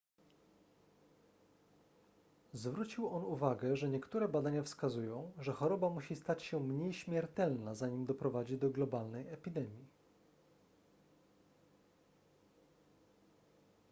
zwrócił on uwagę że niektóre badania wskazują że choroba musi stać się mniej śmiertelna zanim doprowadzi do globalnej epidemii